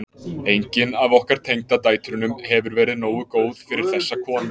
Engin af okkur tengdadætrunum hefur verið nógu góð fyrir þessa konu.